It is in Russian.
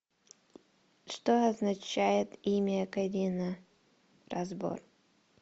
что означает имя карина разбор